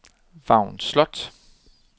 Vagn Slot